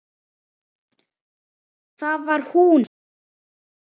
Það var hún sem kaus!